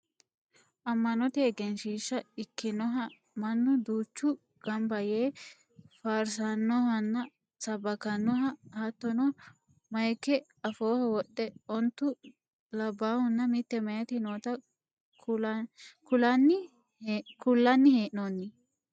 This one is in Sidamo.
Amma'note egenshiishsha ikkinoha mannu duuchu ganba yee faarsannohanna sabbakannoha hatttono mayiika afooho wodhe ontu labbahunna mitte mayeeti noota kullanni hee'noonni